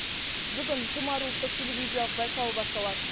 бүгін тұмар ұлттық телевизиялық байқауы басталады